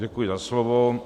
Děkuji za slovo.